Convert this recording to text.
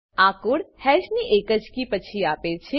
આ code hash ની એકજ કી પછી આપે છે